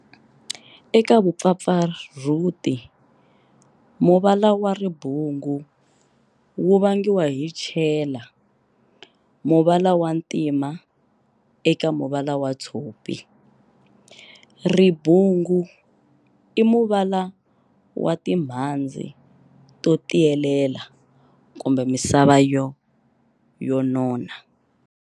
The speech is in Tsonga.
Eka vupfapfarhuti, muvala wa ribungu wu vangiwa hi chela muvala wa ntima eka muvala wa tshopi. Ribungu i muvala wa timhandzi to tiyelela kumbe misava yo nona.